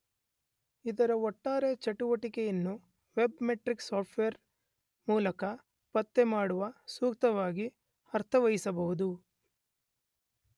ಇದರ ಒಟ್ಟಾರೆ ಚಟುವಟಿಕೆಯನ್ನು ವೆಬ್ ಮೆಟ್ರಿಕ್ ಸಾಫ್ಟ್ ವೇರ್ ಮೂಲಕ ಪತ್ತೆ ಮಾಡಿ ಸೂಕ್ತವಾಗಿ ಅರ್ಥೈಸಬಹುದು.